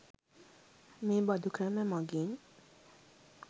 මෙ බඳු ක්‍රම මගින්